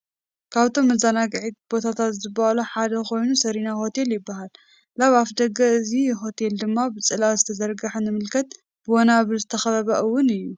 ካብቶም መዘናግዒ ቦታታት ዝበሃሉ ሓደ ኮይኑ ሰሪና ሆቴል ይበሃል::ላብ አፍ ደገ እዚ ሆቴል ድማ ብፅላል ዝተዘርግሐ ንምልከት ብ ወናብር ዝተከበበ እውን እዩ::